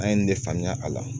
An ye nin ne faamuya a la